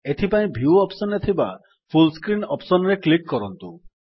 ଏଥିପାଇଁ view option ରେ ଥିବା ଫୁଲ୍ ସ୍କ୍ରିନ୍ ଅପ୍ସନ୍ ରେ କ୍ଲିକ୍ କରନ୍ତୁ